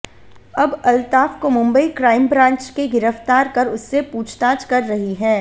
अब अल्ताफ को Mumbai crime branch के गिरफ्तार कर उससे पूछताछ कर रही है